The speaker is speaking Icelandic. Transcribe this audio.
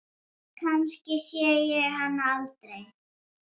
Kannski sé ég hann aldrei.